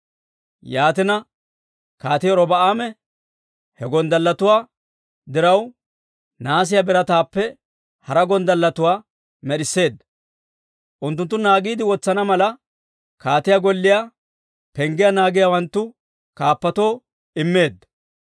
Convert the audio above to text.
Yaatina, kaatii Robi'aame he gonddalletuwaa diraw nahaasiyaa birataappe hara gonddalletuwaa med'isseedda; unttunttu naagiide wotsana mala kaatiyaa golliyaa penggiyaa naagiyaawanttu kaappatoo immeedda.